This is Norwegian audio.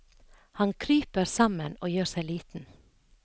Han kryper sammen og gjør seg liten.